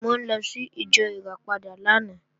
Mo lọ sí ìjọ Ìràpadà lánàá